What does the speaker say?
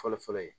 Fɔlɔ fɔlɔ ye